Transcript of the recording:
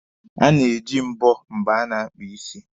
A na-eji mbọ mgbe a na-akpa ịsị.